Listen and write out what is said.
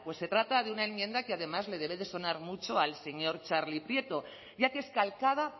pues se trata de una enmienda que además le debe de sonar mucho al señor txarli prieto ya que es calcada